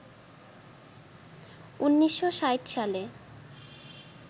১৯৬০ সালে